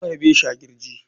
An harbe shi a kirji.